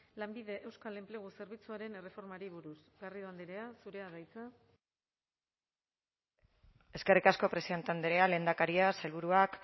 lanbide euskal enplegu zerbitzuaren erreformari buruz garrido andrea zurea da hitza eskerrik asko presidente andrea lehendakaria sailburuak